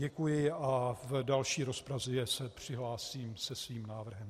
Děkuji a v další rozpravě se přihlásím se svým návrhem.